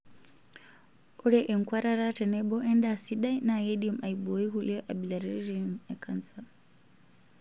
Ore enkuatata tenebo endaa sidai naa keidim aiboii nkulie abilaritin e kansa.